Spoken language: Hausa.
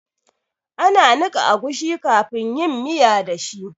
Ana niƙa agushi kafin yin miya da shi